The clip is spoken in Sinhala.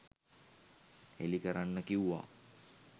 හෙළි කරන්න කිව්වා.